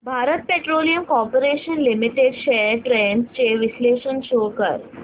Bharat petroleum corporation limited shares trends चे विश्लेषण show कर